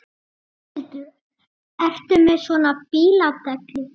Þórhildur: Ertu með svona bíladellu?